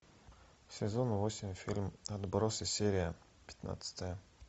сезон восемь фильм отбросы серия пятнадцатая